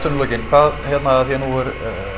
í lokin hvað hérna af því að nú er